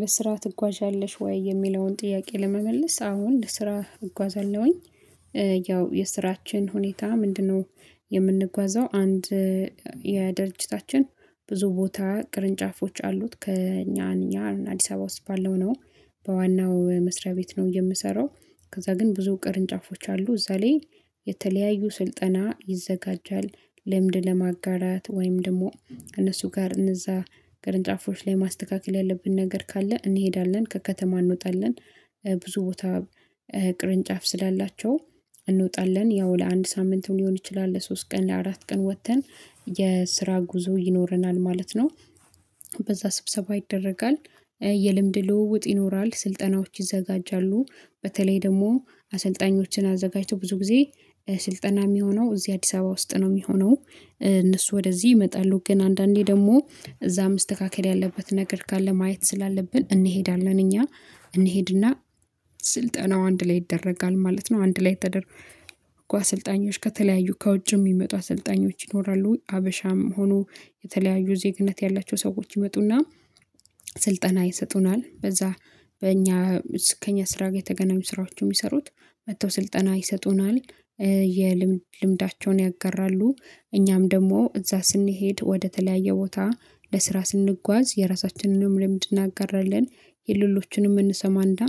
"ለስራ ትጓዣለሽ ወይ?" የሚለውን ጥያቄ ለመመለስ አዎን ለስራ እጓዛለሁኝ። ያው የስራችን ሁኔታ ምንድነው የምንጓዘው አንድ የድርጅታችን ብዙ ቦታ ቅርንጫፎች አሉት ከእኛ እኛ አዲስ አበባ ውስጥ ባለው ነው በዋናው መስሪያ ቤት ነው የምሰራው። ከዛ ግን ብዙ ቅርንጫፎች አሉ እዛ ላይ የተለያዩ ስልጠና ይዘጋጃል። ልምድ ለማጋራት፣ ወይም ደግሞ ከነሱ ጋር እነዛ ቅርንጫፎች ላይ ማስተካከል ያለብን ነገር ካለ እንሄዳለን ከከተማ እንወጣለን ብዙ ቦታ ቅርንጫፍ ስላላቸው እንወጣለን ያው ለአንድ ሳምንትም ሊሆን ይችላል ለሶስት ቀን ለአራት ቀን ወጥተን የስራ ጉዞ ይኖረናል ማለት ነው። በዛ ስብሰባ ይደረጋል፣ የልምድ ልውውጥ ይኖራል፣ ስልጠናዎች ይዘጋጃሉ፣ በተለይ ደግሞ አሰልጣኞችን አዘጋጅቶ ብዙ ጊዜ ስልጠና የሚሆነው እዚህ አዲስ አበባ ውስጥ ነው የሚሆነው። እነሱ ወደዚህ ይመጣሉ ግን አንዳንዴ ደግሞ እዛ መስተካከል ያለበት ነገር ካለ ማየት ስላለብን እንሄዳለን እኛ። እንሄድና ስልጠናው አንድ ላይ ይደረጋል ማለት ነው። አንድ ላይ ተደርጎ አሰልጣኞች ከተለያዩ ከውጭም ሚመጡ አሰልጣኞች ይኖራሉ ሀበሻም ሆኖ የተለያዩ ዜግነት ያላቸው ሰዎች ይመጡና ስልጠና ይሰጡናል። በዛ በእኛ ከእኛ ስራ ጋር የተገናኙ ስራዎችን የሚሰሩት መጥተው ስልጠና ይሰጡናል የልምድ ልምዳቸውን ያጋራሉ። እኛም ደግሞ እዛ ስንሄድ ወደተለያየ ቦታ ለስራ ስንጓዝ የራሳችንንም ልምድ እናጋራለን የሌሎችንም እንሰማ እና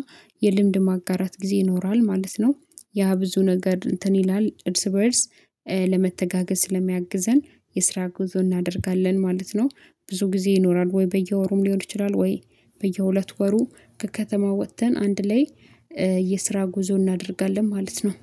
የልምድ ማጋራት ጊዜ ይኖራል ማለት ነው። ያ ብዙ ነገር እንትን ይላል እርስ በእርስ ለመተጋገዝ ስለሚያግዘን የስራ ጉዞ እናደርጋለን ማለት ነው። ብዙ ጊዜ ይኖራል ወይ በየወሩም ሊሆን ይችላል ወይ በየሁለት ወሩ ከከተማ ወጥተን አንድ ላይ የስራ ጉዞ እናደርጋለን ማለት ነው።